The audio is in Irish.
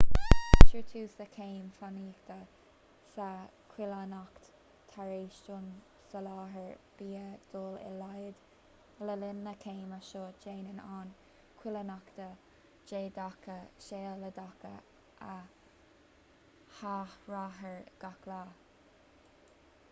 cuirtear tús le céim fánaíochta sa choilíneacht tar éis don soláthar bia dul i laghad le linn na céime seo déanann an choilíneacht neadacha sealadacha a athraítear gach lá